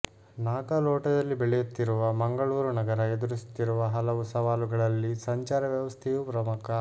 ನಾಗಾಲೋಟದಲ್ಲಿ ಬೆಳೆಯುತ್ತಿರುವ ಮಂಗಳೂರು ನಗರ ಎದುರಿಸುತ್ತಿರುವ ಹಲವು ಸವಾಲುಗಳಲ್ಲಿ ಸಂಚಾರ ವ್ಯವಸ್ಥೆಯೂ ಪ್ರಮುಖ